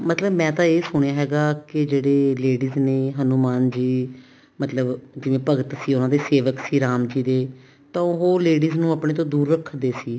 ਮਤਲਬ ਮੈਂ ਤਾਂ ਇਹ ਸੁਣਿਆ ਹੈਗਾ ਵੀ ਜਿਹੜੀ ladies ਨੇ ਹਨੁਮਾਨ ਜੀ ਮਤਲਬ ਭਗਤ ਸੀ ਉਹਨਾ ਦੇ ਸੇਵਕ ਸੀ ਰਾਮ ਜੀ ਦੇ ਤਾਂ ਉਹ ladies ਨੂੰ ਆਪਣੇ ਤੋਂ ਦੁਰ ਰੱਖਦੇ ਸੀ